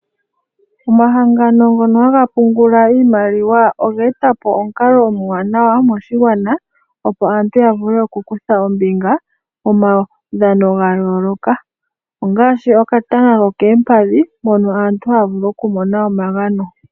Omahangano ngono haga pungula iimaliwa, ogetapo omukalo omuwanawa moshigwana, opo aantu yavule oku kutha ombinga momawu dhano gayooloka. Ongaashi okatanga kokeempadhi mono aantu haavulu okumona omagano.